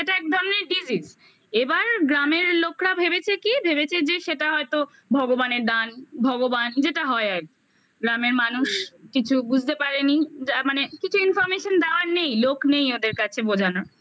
এক ধরনের disease এবার গ্রামের লোকরা ভেবেছে কি ভেবেছে যে সেটা হয়তো ভগবানের দান ভগবান যেটা হয় আর কি গ্রামের মানুষ কিছু বুঝতে পারেনি যা মানে কিছু information দেওয়ার নেই লোক নেই ওদের কাছে বোঝানোর